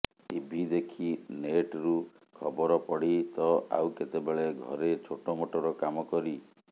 TV ଦେଖି ନେଟରୁ ଖବର ପଢି ତ ଆଉ କେତେବେଳେ ଘରେ ଛୋଟମୋଟର କାମ କରି